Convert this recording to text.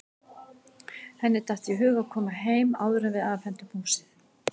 Henni datt í hug að koma heim áður en við afhendum húsið.